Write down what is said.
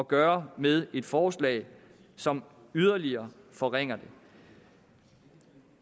gøre med et forslag som yderligere forringer dem